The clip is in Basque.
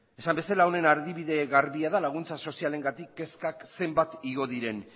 esan bezala honen adibide garbia da laguntza sozialengatik kezkak zenbat igo diren